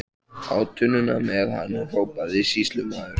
Á tunnuna með hann, hrópaði sýslumaður.